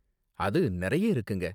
அது நிறைய இருக்குங்க.